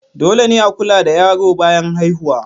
Dole ne a kula da yaro bayan haihuwa.